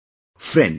Friends,